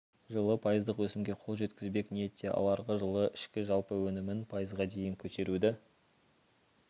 жылы пайыздық өсімге қол жеткізбек ниетте ал арғы жылы ішкі жалпы өнімін пайызға дейін көтеруді